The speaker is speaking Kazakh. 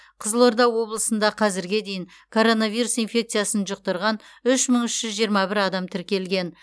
қызылорда облысында қазірге дейін коронавирус инфекциясын жұқтырған үш мың үш жүз жиырма бір адам тіркелген